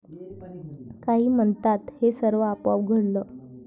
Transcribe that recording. काही म्हणतात हे सर्व आपोआप घडलं.